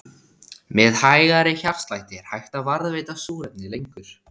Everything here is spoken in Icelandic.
Með hægari hjartslætti er hægt að varðveita súrefni lengur.